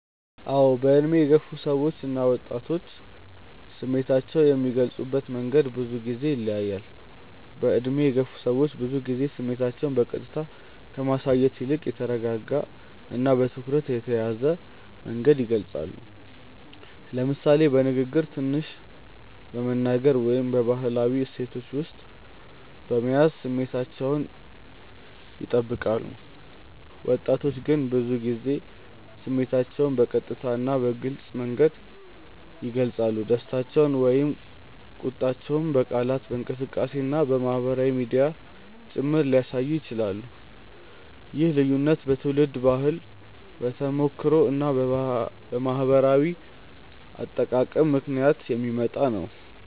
አዎ፣ በዕድሜ የገፉ ሰዎች እና ወጣቶች ስሜታቸውን የሚገልጹበት መንገድ ብዙ ጊዜ ይለያያል። በዕድሜ የገፉ ሰዎች ብዙ ጊዜ ስሜታቸውን በቀጥታ ከማሳየት ይልቅ በተረጋጋ እና በትኩረት የተያዘ መንገድ ይገልጻሉ፤ ለምሳሌ በንግግር ትንሽ በመናገር ወይም በባህላዊ እሴቶች ውስጥ በመያዝ ስሜታቸውን ይጠብቃሉ። ወጣቶች ግን ብዙ ጊዜ ስሜታቸውን በቀጥታ እና በግልጽ መንገድ ይገልጻሉ፤ ደስታቸውን ወይም ቁጣቸውን በቃላት፣ በእንቅስቃሴ እና በማህበራዊ ሚዲያ ጭምር ሊያሳዩ ይችላሉ። ይህ ልዩነት በትውልድ ባህል፣ በተሞክሮ እና በማህበራዊ አጠቃቀም ምክንያት የሚመጣ ነው።